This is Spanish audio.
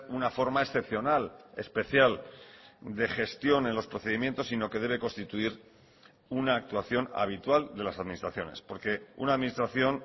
una forma excepcional especial de gestión en los procedimientos sino que debe constituir una actuación habitual de las administraciones porque una administración